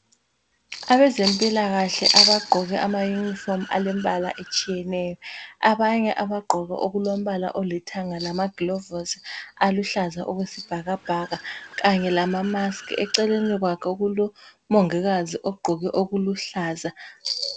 Abezempilakahle abagqoke amayunifomu alembala etshiyeneyo. Abanye abagqoke okulombala olithanga lamagilovosi aluhlaza okwesibhakabhaka kanye lama mask. Eceleni kwakhe kulomongikazi ogqoke okuluhlaza.